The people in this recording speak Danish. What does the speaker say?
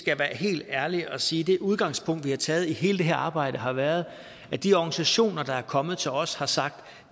jeg være helt ærlig og sige det udgangspunkt vi har taget hele det her arbejde har været at de organisationer der er kommet til os har sagt